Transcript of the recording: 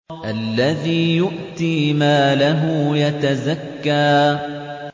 الَّذِي يُؤْتِي مَالَهُ يَتَزَكَّىٰ